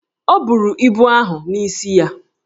O buru ibu ahụ n’isi ya